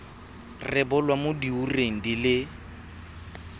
rebolwa mo diureng di le